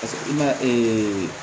Paseke i ma